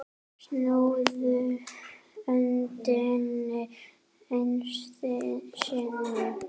Snúðu öndinni einu sinni.